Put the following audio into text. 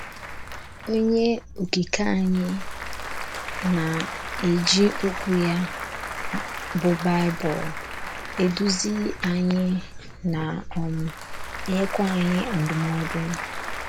Onye Okike anyị na - eji Okwu ya, bụ́ Baịbụl, eduzi anyị, na - um enyekwa anyị ndụmọdụ.